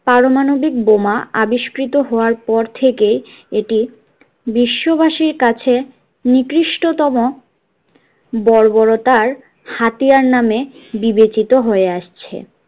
পারমাণবিক বোমা আবিষ্কৃৃত হওয়ার পর থেকেই এটি বিশ্ববাসীর কাছে নিকৃষ্টতম বর্বরতার হাতিয়ার নামে বিবেচিত হয়ে আসছে